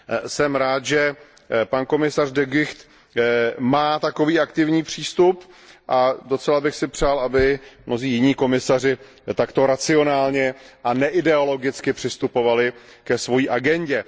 Jsem rád, že pan komisař De Gucht má takový aktivní přístup, a docela bych si přál, aby mnozí jiní komisaři takto racionálně a neideologicky přistupovali ke svojí agendě.